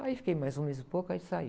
Aí fiquei mais um mês e pouco, aí saí.